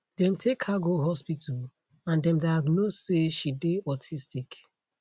dem take her go hospital and dem diagnose say she dey autistic